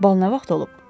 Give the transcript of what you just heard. Bal nə vaxt olub?